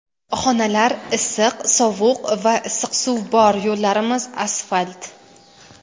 Xonalar issiq, sovuq va issiq suv bor, yo‘llarimiz asfalt.